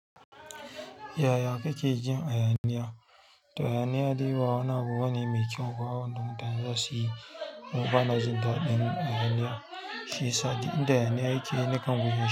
Yaya kake jin hayaniya? To hayani dai ba wani abu bane mai kyau ba wanda mutane zasuyi kuma bana jin daɗin hayaniya shiyasa duk inda hayanayi yake nikan guje shi.